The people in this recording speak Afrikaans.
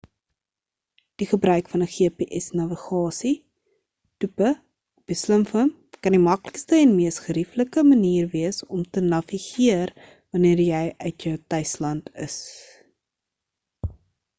die gebruik van 'n gps navigasie toepe op jou slimfoon kan die maklikste en mees gerieflike manier wees om te navigeer wanneer jy uit jou tuisland is